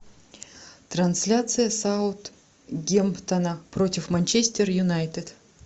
трансляция саутгемптона против манчестер юнайтед